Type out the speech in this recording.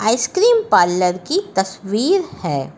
Ice cream parlour की तस्वीर है।